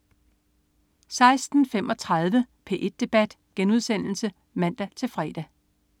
16.35 P1 debat* (man-fre)